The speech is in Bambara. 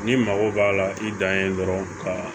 N'i mago b'a la i dan ye dɔrɔn ka